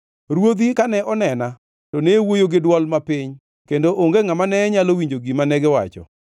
Ruodhi kane onena to ne wuoyo gi dwol mapiny kendo onge ngʼama ne nyalo winjo gima negiwacho.